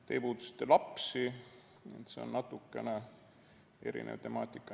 Te puudutasite lapsi, see on natukene erinev temaatika.